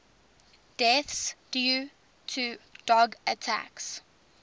deaths due to dog attacks